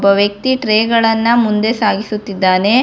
ಒಬ್ಬ ವ್ಯಕ್ತಿ ಟ್ರೇ ಗಳನ್ನ ಮುಂದೆ ಸಾಗಿಸುತ್ತಿದ್ದಾನೆ.